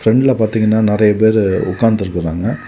பிரெண்ட்ல பாத்தீங்கன்னா நெறைய பேரு உட்கார்ந்திருக்காங்க.